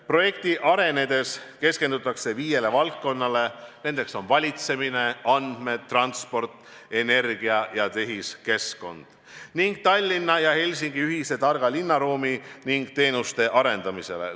Projekti arenedes keskendutakse viiele valdkonnale – valitsemine, andmed, transport, energia ja tehiskeskkonnad – ning Tallinna ja Helsingi ühise targa linnaruumi ja teenuste arendamisele.